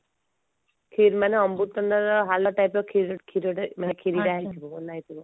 ଖିର ମାନେ ଅମୃତଭଣ୍ଡାର ହାଲୁଆ type ର କ୍ଷୀର କ୍ଷୀରରେ ମାନେ ଖିରିଟା ହେଇଥିବ